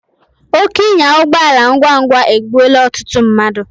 Oke ịnya ụgbọala ngwa ngwa egbụola ọtụtụ mmadu